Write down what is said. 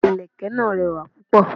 Ìlẹ̀kẹ̀ náà rẹwà púpọ̀.